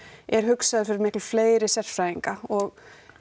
er hugsaður fyrir miklu fleiri sérfræðinga og